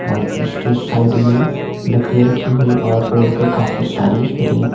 और इसके साइड में लकड़ियां रखी हुई और रोड पे काफी सारी री--